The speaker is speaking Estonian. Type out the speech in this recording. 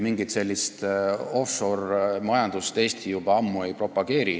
Mingit offshore-majandust Eesti juba ammu ei propageeri.